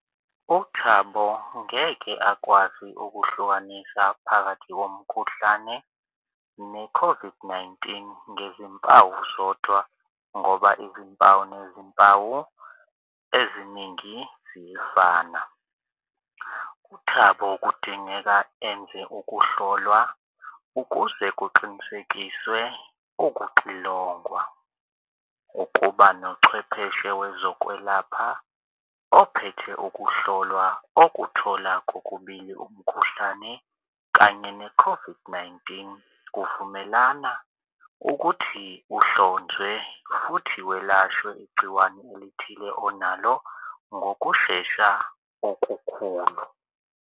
UThabo ngeke akwazi ukuhlukanisa phakathi komkhuhlane ne-COVID-19 ngezimpawu zodwa ngoba izimpawu nezimpawu eziningi ziyefana. UThabo kudingeka enze ukuhlolwa ukuze kuqinisekiswe ukuxilongwa ukuba nochwepheshe wezokwelapha ophethe ukuhlolwa okuthola kokubili umkhuhlane kanye ne-COVID-19. Kuvumelana ukuthi uhlonzwe futhi welashwe igciwane elithile onalo ngokushesha okukhulu.